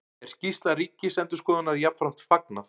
Er skýrslu Ríkisendurskoðunar jafnframt fagnað